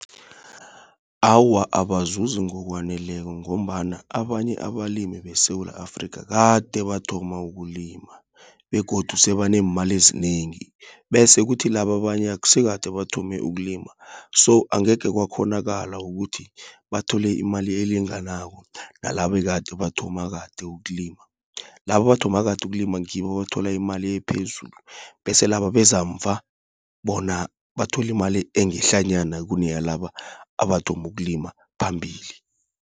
Awa abazuzi ngokwaneleko, ngombana abanye abalimi beSewula Afrika kade bathoma ukulima, begodu sebaneemali ezinengi, bese kuthi laba abanye aksikade bathome ukulima. So, angekhe kwakghonakala ukuthi, bathole imali elinganako nalabekade bathoma kade ukulima. Laba abathoma kade ukulima, ngibo abathola imali ephezulu, bese laba abeza mva, bona batholi imali engehlanyana kuneyalaba abathoma ukulima phambili.